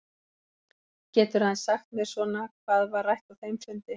Geturðu aðeins sagt mér svona hvað var rætt á þeim fundi?